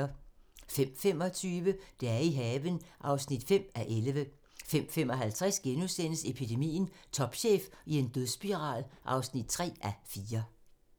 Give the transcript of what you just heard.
05:25: Dage i haven (5:11) 05:55: Epidemien - Topchef i en dødsspiral (3:4)*